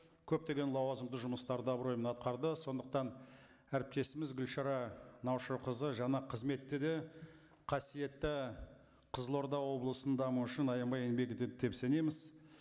көптеген лауазымды жұмыстарды абыроймен атқарды сондықтан әріптесіміз гүлшара наушақызы жаңа қызметте де қасиетті қызылорда облысының дамуы үшін аянбай еңбек етеді деп сенеміз